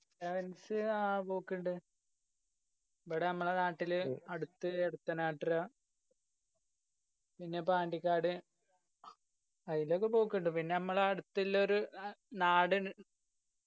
sevens ആ പൊക്കിണ്ട്. ഇബ്ബ്‌ടെ നമ്മളെ നാട്ടില് അടുത്ത് ഈ അടുത്തെന്നേ പിന്നെ പാണ്ടിക്കാട് ആയിലൊക്കെ പോക്കുണ്ട് പിന്ന നമ്മളാ അടുത്തിലൊരു നാട്